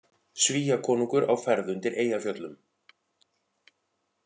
Svíakonungur á ferð undir Eyjafjöllum